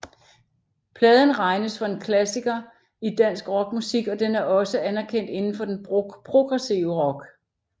Pladen regnes for en klassiker i dansk rock musik og den er også anerkendt indenfor den progressive rock